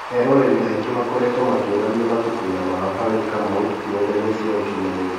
Eroreri aingĩ makoretwo makĩ onania matũkũya mao harĩ Kamau nendainĩ cia ũkinyanĩ ria.